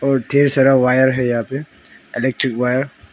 और ढेर सारा वायर है यहाँ पे इलेक्ट्रिक वायर --